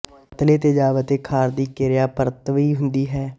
ਪਤਲੇ ਤੇਜ਼ਾਬ ਅਤੇ ਖਾਰ ਦੀ ਕਿਰਿਆ ਪਰਤਵੀ ਹੁੰਦੀ ਹੈ